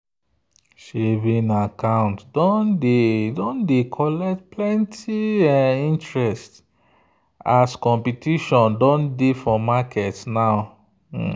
saving account don dey collect plenty interest as competition don dey for market now.